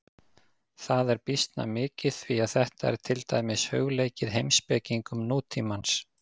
Það er býsna mikið því að þetta er til dæmis hugleikið heimspekingum nútímans.